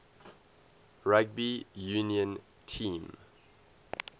rugby union team